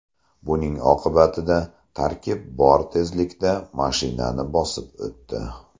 Buning oqibatida tarkib bor tezlikda mashinani bosib o‘tdi.